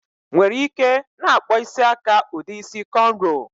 Nwere ike na-akpọ isi aka ụdị isi kọnrọ